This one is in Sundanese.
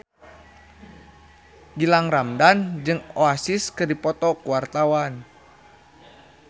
Gilang Ramadan jeung Oasis keur dipoto ku wartawan